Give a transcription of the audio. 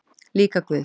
Líka Guð.